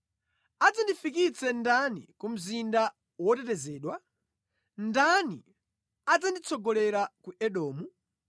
Adzandifikitse ndani ku mzinda wotetezedwa? Ndani adzanditsogolera ku Edomu?